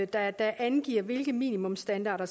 der angiver hvilke minimumsstandarder